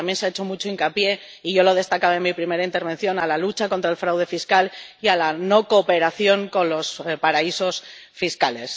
pero también se ha hecho mucho hincapié —y yo lo he destacado en mi primera intervención— en la lucha contra el fraude fiscal y en la no cooperación con los paraísos fiscales.